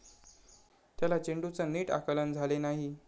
त्याला चेंडूचं नीट आकलन झाले नाही.